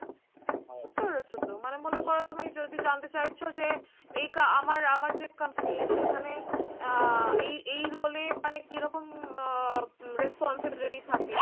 বুঝতে পেরেছো তো। মানে মনে করো তুমি যদি জানতে চাইছো যে এই আমার আমার যে company সেখানে আহ এই এই role এ মানে কিরকম আহ responsibility থাকে